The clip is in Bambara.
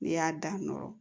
N'i y'a dan nɔrɔ